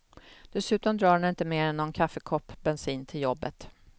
Dessutom drar den inte mer än någon kaffekopp bensin till jobbet.